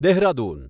Dehradun